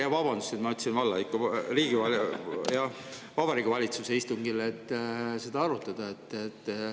Jah, vabandust, et ma ütlesin "valla", ikka Vabariigi Valitsuse istungil saate seda arutada.